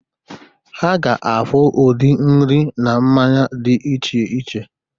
Ha ga-afụ udiri nri na mmanya dị iche iche